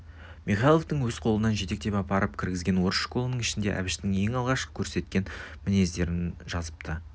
михайловтың өзі қолынан жетектеп апарып кіргізген орыс школының ішінде әбіштің ең алғаш көрсеткен мінездерін жазыпты